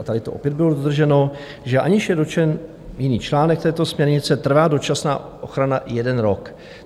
A tady to opět byl dodrženo, že aniž je dotčen jiný článek této směrnice, trvá dočasná ochrana jeden rok.